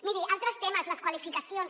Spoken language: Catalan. miri altres temes les qualificacions